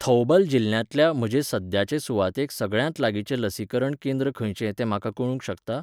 थौबल जिल्ल्यांतल्या म्हजे सध्याचे सुवातेक सगळ्यांत लागींचें लसीकरण केंद्र खंयचें तें म्हाका कळूंक शकता?